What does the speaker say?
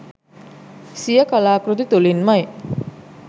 සිය කලා කෘති තුළින්මයි.